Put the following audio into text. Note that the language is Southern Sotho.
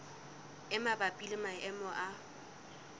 e mabapi le maemo a